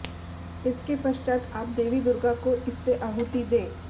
इसके पश्चात आप देवी दुर्गा को इससे आहुति दें